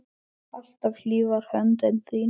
Alltaf hlý var höndin þín.